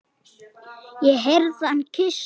Ég heyrði hann kyssa hana.